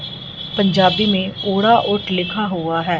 पंजाबी में उड़ा ओट लिखा हुआ है।